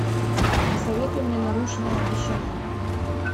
посоветуй мне нарушенное обещание